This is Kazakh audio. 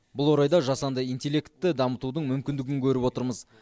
бұл орайда жасанды интеллектті дамытудың мүмкіндігін көріп отырмыз